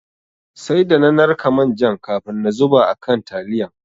Sai da na narka manjan kafin na zuba a kan taliyan.